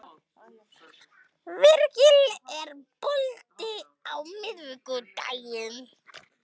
Virgill, er bolti á miðvikudaginn?